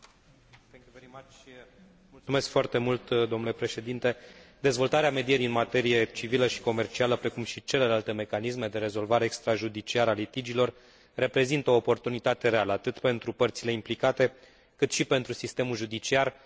Dezvoltarea medierii în materie civilă și comercială, precum și celelalte mecanisme de rezolvare extrajudiciară a litigiilor, reprezintă o oportunitate reală, atât pentru părțile implicate, cât și pentru sistemul judiciar, mai ales în foarte multe dintre țările în care acesta este suprasolicitat.